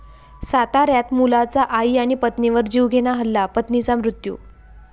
साताऱ्यात मुलाचा आई आणि पत्नीवर जीवघेणा हल्ला, पत्नीचा मृत्यू